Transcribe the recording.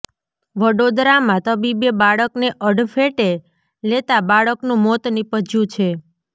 વડોદરામાં તબીબે બાળકને અડફેટે લેતા બાળકનું મોત નિપજ્યું છે